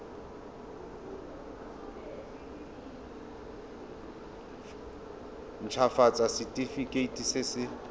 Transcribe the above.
nt hafatsa setefikeiti se se